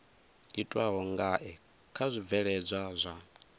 itwaho ngae kha zwibveledzwa zwa